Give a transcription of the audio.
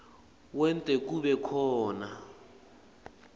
wente kube khona